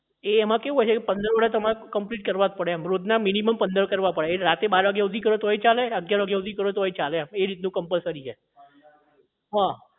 એ એમાં કેવું હોય છે પંદર order તમારે complete કરવા જ પડે રોજના minimum પંદર કરવા પડે રાતે બાર વાગ્યા સુધી કરો તોય ચાલે અગિયાર વાગ્યા સુધી કરો તોય ચાલે એ રીતનું compulsory છે હા